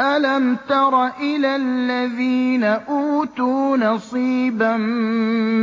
أَلَمْ تَرَ إِلَى الَّذِينَ أُوتُوا نَصِيبًا